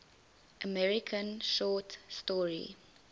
american short story